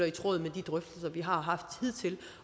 i tråd med de drøftelser vi har haft hidtil